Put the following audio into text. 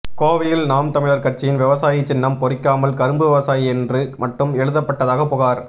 கோவையில் நாம் தமிழர் கட்சியின் விவசாயி சின்னம் பொறிக்காமல் கரும்பு விவசாயி என்று மட்டும் எழுதப்பட்டதாக புகார்